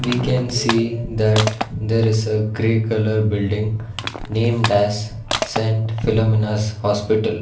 we can see that there is a grey colour building named as saint philomenas hospital.